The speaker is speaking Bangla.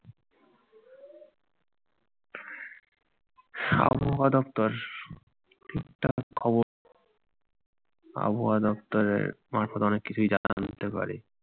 আবহাওয়া দপ্তর ঠিকঠাক খবর আবহাওয়া দপ্তরের মারফত অনেক কিছুই জানা যেতে পারে।